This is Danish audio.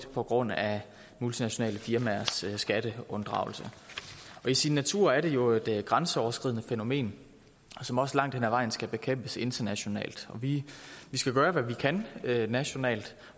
på grund af multinationale firmaers skatteunddragelse i sin natur er det jo et grænseoverskridende fænomen som også langt hen ad vejen skal bekæmpes internationalt vi skal gøre hvad vi kan nationalt